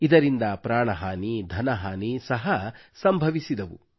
ಇದರಿಂದ ಪ್ರಾಣ ಹಾನಿ ಧನಹಾನಿ ಸಹ ಸಂಭವಿಸಿದವು